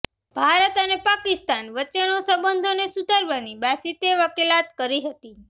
ભારત અને પાકિસ્તાન વચ્ચે સંબંધોને સુધારવાની બાસિતે વકીલાત કરી હતી